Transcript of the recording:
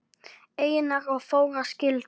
Einar og Þóra skildu.